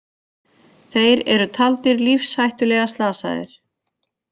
Þeir eru taldir lífshættulega slasaðir